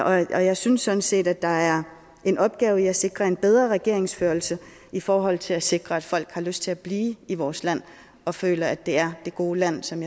og jeg synes sådan set der er en opgave i et sikre en bedre regeringsførelse i forhold til at sikre at folk har lyst til at blive i vores land og føle at det er det gode land som